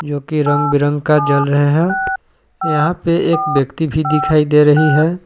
जोकि रंग बिरंग का जल रहे हैं यहां पे एक व्यक्ति भी दिखाई दे रही है।